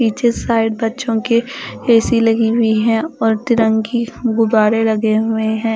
पीछे साइड बच्चों के ए_सी लगी हुई है और तिरंगी गुबारे लगे हुए हैं।